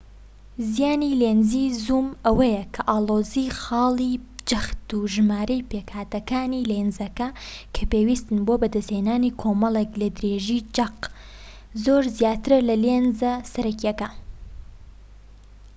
زیانی لێنزی زووم ئەوەیە کە ئاڵۆزی خاڵی جەخت و ژمارەی پێکهاتەکانی لێنزەکە کە پێویستن بۆ بەدەستهێنانی کۆمەڵێک لە درێژیی چەق زۆر زیاترە لە لێنزە سەرەکیەکە